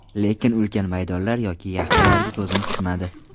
Lekin ulkan maydonlar yoki yaxtalarga ko‘zim tushmadi.